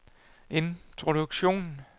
introduktion